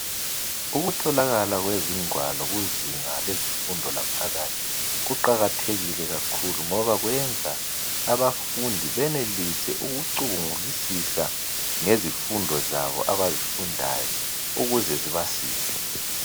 Ukutholakala kwezingwalo kuzinga lezifundo lwaphakathi kuqakathekile kakhulu ngoba kwenza abafundi benelise ukucubhngulisisa ngezifundo zabo abazifundayo ukuze zibasize.